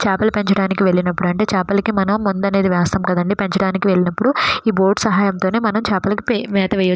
చేపలు పెంచడానికి వెళ్లినప్పుడు అంటే మనము చాపలకి మందు అన్యాది మనము వేస్తాము కదా అండి పచ్చడినికి వలీ నప్పుడు మనము మేత వేస్తామ.